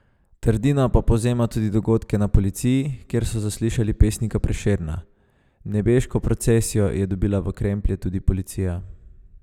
Trdina pa povzema tudi dogodke na policiji, kjer so zaslišali pesnika Prešerna: "Nebeško procesijo je dobila v kremplje tudi policija.